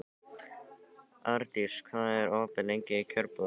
Ardís, hvað er opið lengi í Kjörbúðinni?